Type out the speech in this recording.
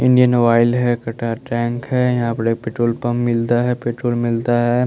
Indian oil हैं कटार tank हैं यहाँ पर एक पेट्रोल पंप मिलता हैं पेट्रोल मिलता हैं।